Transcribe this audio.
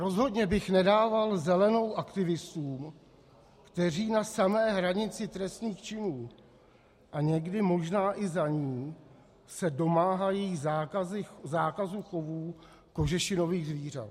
Rozhodně bych nedával zelenou aktivistům, kteří na samé hranici trestných činů a někdy možná i za ní se domáhají zákazu chovů kožešinových zvířat.